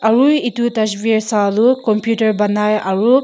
Aru it etu dusfer sa tu computer panai aro.